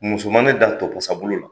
Muso ma ne dan topasa bolo la.